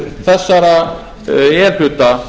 þessara e hluta